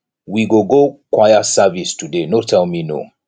we go go choir service today no tell me no